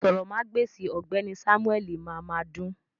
Àsòrọmagbesi ọgbẹni Samueli máa máa dùn.